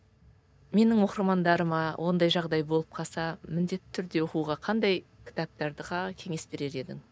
менің оқырмандарыма ондай жағдай болып қалса міндетті түрде оқуға қандай кітаптарға кеңес берер едің